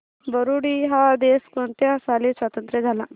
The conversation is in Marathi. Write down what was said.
बुरुंडी हा देश कोणत्या साली स्वातंत्र्य झाला